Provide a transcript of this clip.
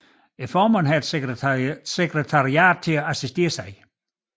Formanden har et sekretariat til at assistere sig